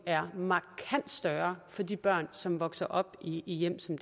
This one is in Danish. er markant større for de børn som vokser op i hjem som